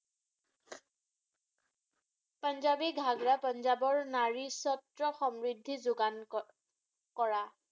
পাঞ্জাবী ঘাগড়া পাঞ্জাবৰ নাৰীস্বত্ৰ সমৃদ্ধি যোগান ক কৰা।